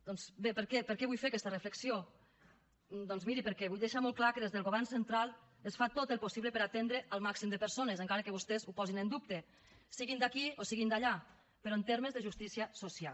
doncs bé per què vull fer aquesta reflexió doncs miri perquè vull deixar molt clar que des del govern central es fa tot el possible per atendre el màxim de persones encara que vostès ho posin en dubte siguin d’aquí o siguin d’allà però en termes de justícia social